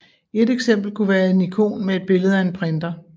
Et eksempel kunne være en ikon med et billede af en printer